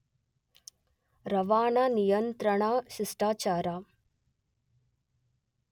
ರವಾನಾ ನಿಯಂತ್ರಣಾ ಶಿಷ್ಟಾಚಾರ